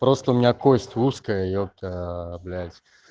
просто у меня кость узкая епта аа блять